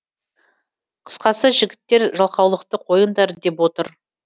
қысқасы жігіттер жалқаулықты қойыңдар деп отыр